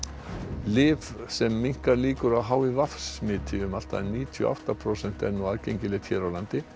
lyf sem minnkar líkur á h i v smiti um allt að níutíu og átta prósent er nú aðgengilegt hér á landi